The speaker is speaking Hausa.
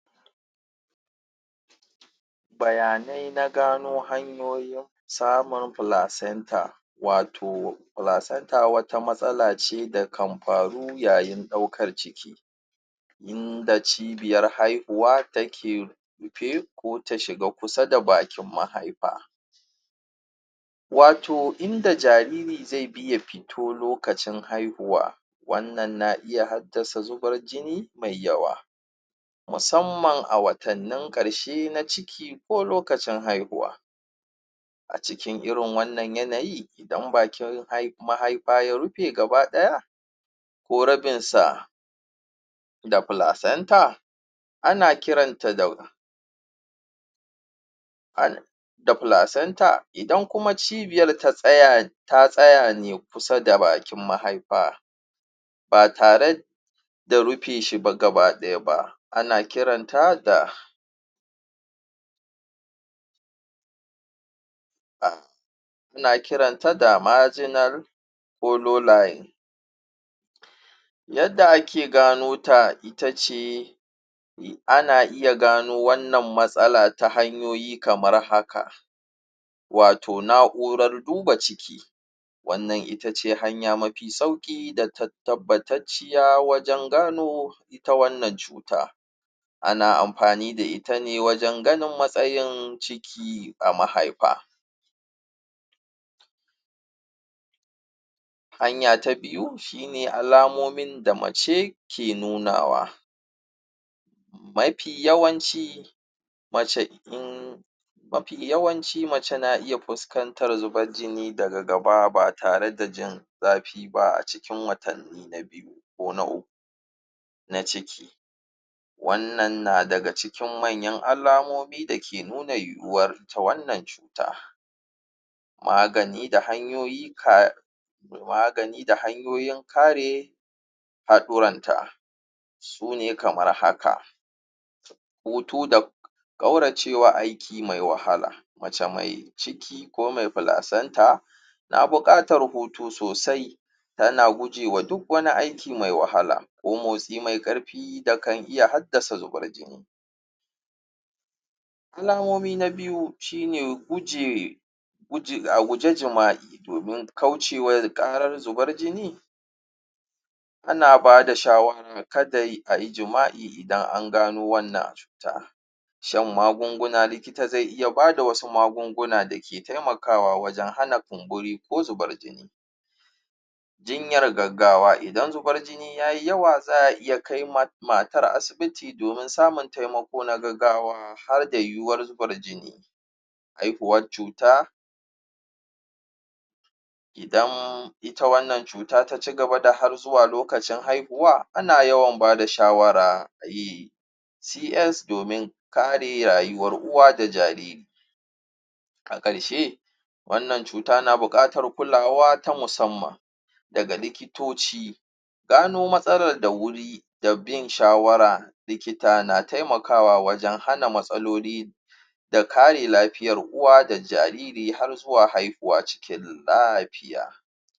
Bayanai na gano hanyoyin samun placenta wato placenta wata matsala ce da kan faru yayin ɗaukan ciki in da cibiyar haihuwa rufe ko ta shiga kusa da bakin mahaifa wato inda jariri zai bi ya fito lokacin haihuwa wannan na iya haddasa zubar jini mai yawa musamman a watannin ƙarshe na ciki ko lokacin haihuwa a cikin irin wannan yanayi dan bakin haihuwa ya rufe gabaɗaya ko rabin sa da placenta ana kiranta da ana da placenta idan kuma cibiyar ta tsaya ta tsaya ne kusa da bakin mahaifa ba tare da rufe ba gabaɗaya ba ana kiranta da ana kiranta da marginal ko low line yadda ake gano ta itace ana iya gano wannan matsala ta hanyoyi kamar haka wato na'urar duba ciki wannan itace hanya mafi sauƙi da ta tabbatacciya wajen gano ta wannan cuta ana amfani da ita ne wajen ganin matsayin ciki a mahaifa hanya ta biyu shine alamomin da mace ke nuna wa mafi yawanci mace in mafi yawanci mace na iya fuskantar zubar jini ba tare da jin zafi ba a cikin watannin ni na biyu ko na uku na ciki wannan na daga cikin manyan alamomi da ke nuna yiwuwar ita wannan cuta magani da hanyoyi ka magani da hanyoyin kare haɗoranta su ne kamar haka hutu da ƙaurace wa aiki mai wahala mace mai ciki ko mai placenta na buƙatar hutu sosai tana guje wa duk wani aiki mai wahala ko motsi mai karfi fi da kan iya haddasa zuban jini alamomi na biyu shine guje guje a guji jima'i domin kauce wa karar zubar jini ana bada shawara kada ayi jima'i idan an gano wannan cuta shan magunguna likita zai iya bada wasu magunguna da ke taimakawa wajen hana kumburi ko zubar jini jinyar gaggawa idan zubar jini yayi yawa za a iya matar asibiti domin samun taimako na gaggawa harda yiwuwar zubar jini haihuwar cuta idan ita wannan cuta ta cigaba da har zuwa lokacin haihuwa ana yawan bada shawara a yi CS domin kare rayuwar uwa da jariri a ƙarshe wannan cuta na buƙatar kulawa ta musamman daga likitoci gano matsalar da wuri da bin shawara likita na taimakawa wajen hana matsaloli da kare lafiyar uwa da jariri har zuwa haihuwa cikin lafiya.